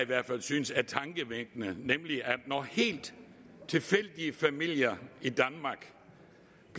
hvert fald synes er tankevækkende nemlig at når helt tilfældige familier